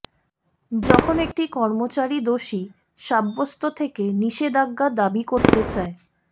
যখন একটি কর্মচারী দোষী সাব্যস্ত থেকে নিষেধাজ্ঞা দাবি করতে চায়